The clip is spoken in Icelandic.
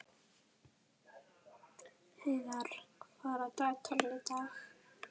Heiðarr, hvað er á dagatalinu í dag?